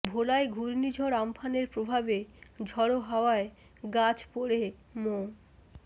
ভোলায় ঘূর্ণিঝড় আম্ফানের প্রভাবে ঝড়ো হাওয়ায় গাছ পড়ে মো